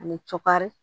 Ani cɔkari